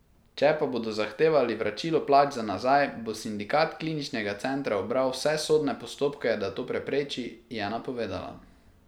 Če pa bodo zahtevali vračilo plač za nazaj, bo Sindikat Kliničnega centra ubral vse sodne postopke, da to prepreči, je napovedala.